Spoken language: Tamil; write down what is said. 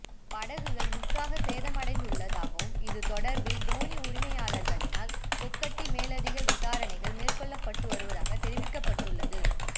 படகுகள் முற்றாக சேதமடைந்துள்ளதாகவும் இது தொடர்பில் தோணி உரிமையாளர்களினால் கொக்கட்டிச் மேலதிக விசாரணைகள் மேற்கொள்ளப்பட்டு வருவதாக தெரிவிக்கப்பட்டுள்ளது